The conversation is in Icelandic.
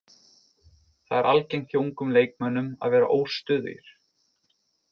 Það er algengt hjá ungum leikmönnum að vera óstöðugir.